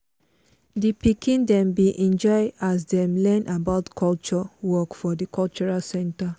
di pikin dem bin enjoy as them learn about cultural work for the cultural center.